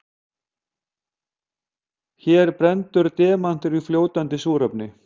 Hér brennur demantur í fljótandi súrefni.